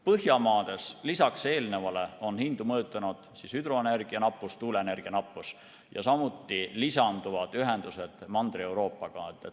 Põhjamaades on lisaks eelnevale hindu mõjutanud hüdroenergia ja tuuleenergia nappus, samuti lisanduvad ühendused Mandri-Euroopaga.